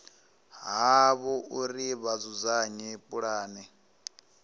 havho uri vha dzudzanye pulane